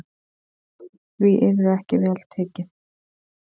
Því yrði ekki vel tekið.